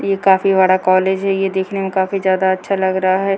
ये काफी बड़ा कॉलेज ये देखने में काफी ज्यादा अच्छा लग रहा है।